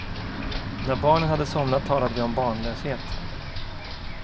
När barnen hade somnat talade vi om barnlöshet.